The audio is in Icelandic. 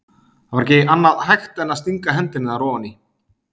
Það var ekki annað hægt en að stinga hendinni þar ofan í.